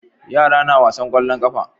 Yara na wasan kwallon kafa